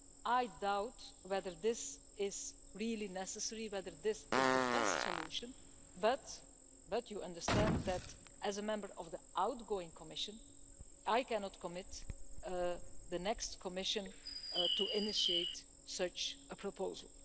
I doubt whether this is really necessary, or whether this is the best solution, but you understand that as a member of the outgoing Commission, I cannot commit the next Commission to initiate such a proposal.